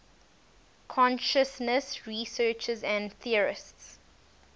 consciousness researchers and theorists